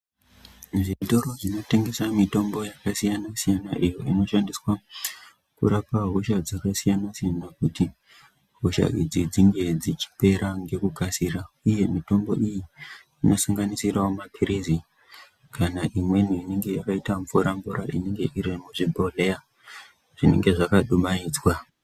Zvitoro zvinotengesa mitombo yakasiyana siyana imwe inorapa hosha dzakasiyana siyana kuti hosha idzi dzinge dzichipera ngekukasira uye mitombo iyi inosanganisirawo mapiritsi kana imweni yakaita mvura mvura inenge iri muzvibhodhlera zvinenge zvakadumaidzwa.